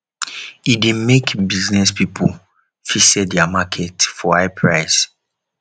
e de make business pipo fit sell their market for high price